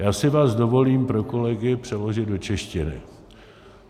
Já si vás dovolím pro kolegy přeložit do češtiny.